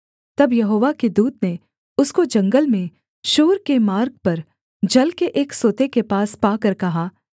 तब यहोवा के दूत ने उसको जंगल में शूर के मार्ग पर जल के एक सोते के पास पाकर कहा